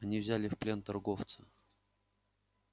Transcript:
они взяли в плен торговца